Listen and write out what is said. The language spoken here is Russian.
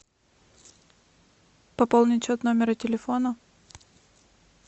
пополнить счет номера телефона